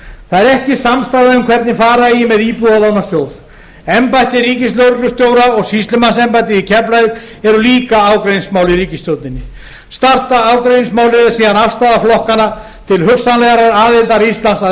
það er ekki samstaða um hvernig fara eigi með íbúðalánasjóð embætti ríkislögreglustjóra og sýslumannsembættið í keflavík eru líka ágreiningsmál í ríkisstjórninni stærsta ágreiningsmálið er síðan afstaða flokkanna til hugsanlegrar aðildar íslands að